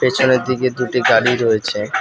পিছনের দিকে দুটি গাড়ি রয়েছে।